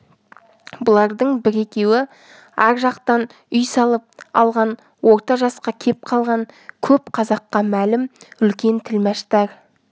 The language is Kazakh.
бұлардың бір-екеуі ар жақтан үй салып алған орта жасқа кеп қалған көп қазаққа мәлім үлкен тілмаштар